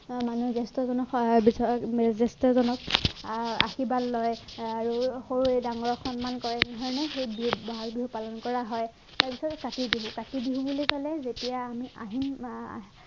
মানুহে জ্য়েষ্ঠজনক সেৱা বিচাৰে জ্য়েষ্ঠ জনক আহ আশীৰ্বাদ লয় আৰু সৰুৱে ডাঙৰক সন্মান কৰে, বুজিছানে? সেয়ে বহাগ বিহু পালন কৰা হয়। তাৰপাছত কাতি বিহু, কাতি বিহু বুলি কলে যেতিয়া আমি আহিন আহ